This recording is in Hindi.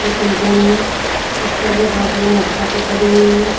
ये कंपनी है इसके आगे बहुत सारी मोटर साइकिल खड़ी हुई हैं।